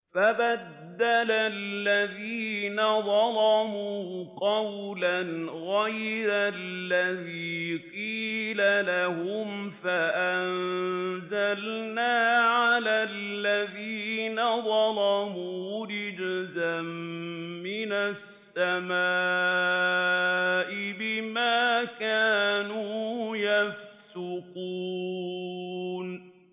فَبَدَّلَ الَّذِينَ ظَلَمُوا قَوْلًا غَيْرَ الَّذِي قِيلَ لَهُمْ فَأَنزَلْنَا عَلَى الَّذِينَ ظَلَمُوا رِجْزًا مِّنَ السَّمَاءِ بِمَا كَانُوا يَفْسُقُونَ